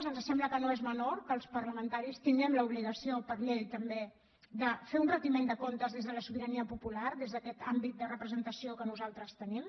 ens sembla que no és menor que els parlamentaris tinguem l’obligació per llei també de fer un retiment de comptes des de la sobirania popular des d’aquest àmbit de representació que nosaltres tenim